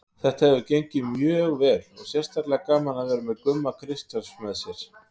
Þetta hefur gengið mjög vel og sérstaklega gaman að vera með Gumma Kristjáns með mér.